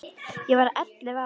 Hún var ellefu ára.